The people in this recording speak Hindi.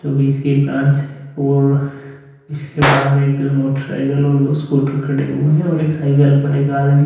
जोकि इसकी ब्रांच है और इसके बाहर एक मोटरसाइकिल और स्कूटर खड़े हुए हैं और एक साइकिल पर एक आदमी --